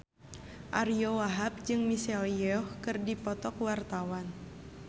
Ariyo Wahab jeung Michelle Yeoh keur dipoto ku wartawan